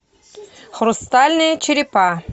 хрустальные черепа